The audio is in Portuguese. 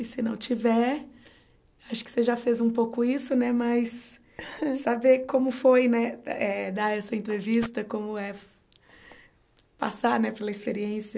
E, se não tiver, acho que você já fez um pouco isso né, mas saber como foi né eh dar essa entrevista, como é passar né pela experiência